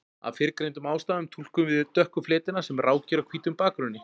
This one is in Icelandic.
Af fyrrgreindum ástæðum túlkum við dökku fletina sem rákir á hvítum bakgrunni.